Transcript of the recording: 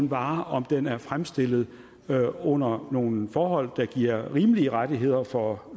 varen om den er fremstillet under nogle forhold der giver rimelige rettigheder for